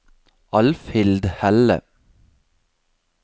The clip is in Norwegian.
Alfhild Helle